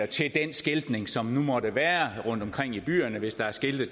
til den skiltning som nu måtte være rundtomkring i byerne hvis der er skilte